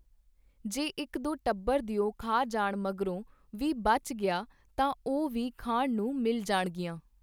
ਜੇ ਇੱਕ ਦੋ ਟੱਬਰ ਦਿਓ ਖਾ ਜਾਣ ਮਗਰੋਂ ਵੀ ਬਚ ਗਈਆਂ ਤਾਂ ਉਹ ਵੀ ਖਾਣ ਨੂੰ ਮਿਲ ਜਾਣਗੀਆਂ.